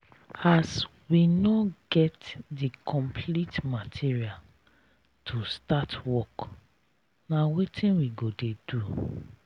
as we no get the complete material to start work na wetin we go dey do?